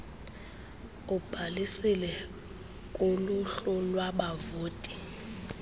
ubhalisile kuluhlu lwabavoti